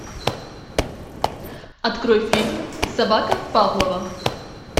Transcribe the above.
открой фильм собака павлова